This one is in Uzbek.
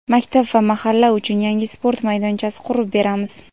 Maktab va Mahalla uchun yangi sport maydonchasi qurib beramiz.